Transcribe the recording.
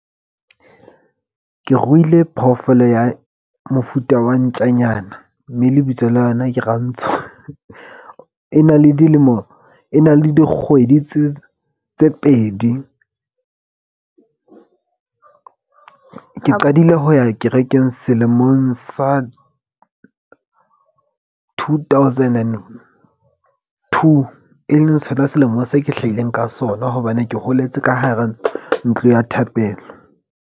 Ke ruile phoofolo ya mofuta wa ntjanyana. Mme lebitso la yona ke Rantsho. E na le dilemo, e na le dikgwedi tse pedi. Ke qadile ho ya kerekeng selemong sa two thousand and two, e leng sona selemong se ke hlahileng ka sona. Hobane ke holetse ka hara ntlo ya thapelo.